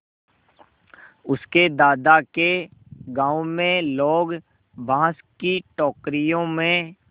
उसके दादा के गाँव में लोग बाँस की टोकरियों में